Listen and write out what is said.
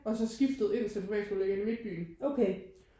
Og så skiftet ind til privatskole der ligger inde i midtbyen